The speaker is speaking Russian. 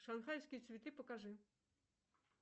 шанхайские цветы покажи